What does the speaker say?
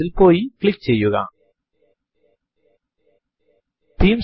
ഇപ്പോൾ CtrlD key കൾ ഒരുമിച്ചമർത്തുക